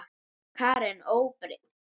Karen: Óbreytt?